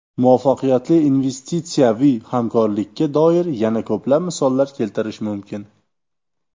Muvaffaqiyatli investitsiyaviy hamkorlikka doir yana ko‘plab misollar keltirish mumkin.